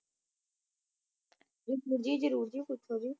ਜੀ ਜਰੂਰ ਜੀ ਪੁਛੋ ਜੀ